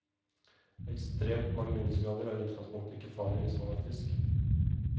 Ekstremt mange minusgrader er i utgangspunktet ikke farlig hvis man er frisk.